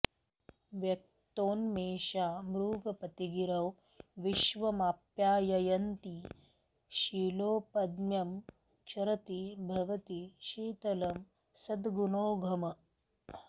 व्यक्तोन्मेषा मृगपतिगिरौ विश्वमाप्याययन्ती शीलोपज्ञं क्षरति भवती शीतलं सद्गुणौघम्